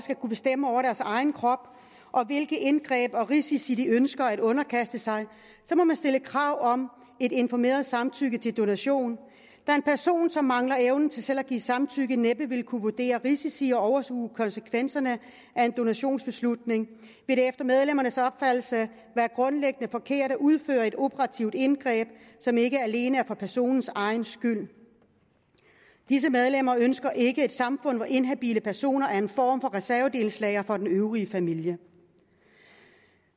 kunne bestemme over deres egen krop og hvilke indgreb og risici de ønsker at underkaste sig så må man stille krav om et informeret samtykke til donation da en person som mangler evnen til selv at give samtykke næppe vil kunne vurdere risici og overskue konsekvenserne af en donationsbeslutning vil det efter medlemmernes opfattelse være grundlæggende forkert at udføre et operativt indgreb som ikke alene er for personens egen skyld disse medlemmer ønsker ikke et samfund hvor inhabile personer er en form for reservedelslager for den øvrige familie